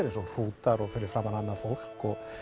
eins og hrútar og fyrir framan annað fólk